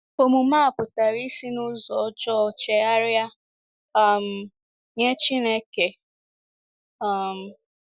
Omume a pụtara isi n’ụzọ ọjọọ chegharia um nye Chineke. um